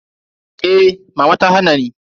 Eh mama ta hana ni.